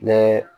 Ne